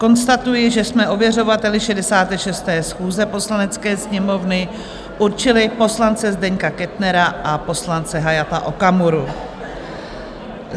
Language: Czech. Konstatuji, že jsme ověřovateli 66. schůze Poslanecké sněmovny určili poslance Zdeňka Kettnera a poslance Hayata Okamuru.